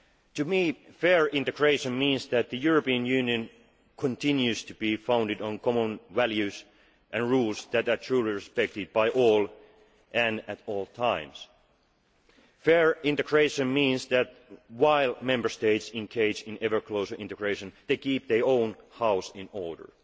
can. To me, fair integration means that the European Union continues to be founded on common values and rules that are truly respected by all and at all times. Fair integration means that, while Member States engage in ever closer integration, they keep their own house in